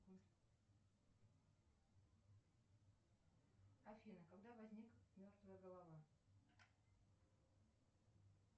афина когда возник мертвая голова